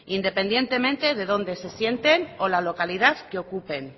independientemente de dónde se sienten o la localidad que ocupen